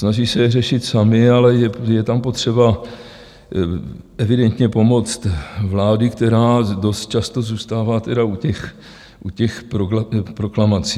Snaží se je řešit samy, ale je tam potřeba evidentně pomoc vlády, která dost často zůstává tedy u těch proklamací.